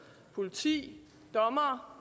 politi dommere